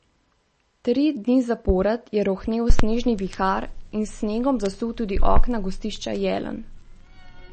Tri dni zapored je rohnel snežni vihar in s snegom zasul tudi okna gostišča Jelen.